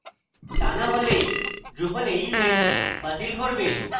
তা না হলে drupal এর image বাতিল করবে